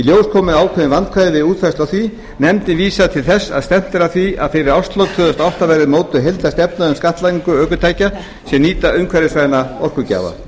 komu ákveðin vandkvæði við útfærslu á því nefndin vísar til þess að stefnt er að því að fyrir árslok tvö þúsund og átta verði mótuð heildarstefna um skattlagningu ökutækja sem nýta umhverfisvæna orkugjafa